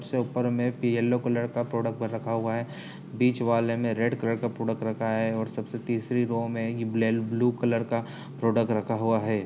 सबसे ऊपर में येल्लो कलर का प्रोडक्ट रखा हुआ है। बीच वाले में रेड कलर का प्रोडक्ट रखा है। सबसे तीसरी रो में ये बले ब्लू कलर का प्रोडक्ट रखा हुआ है।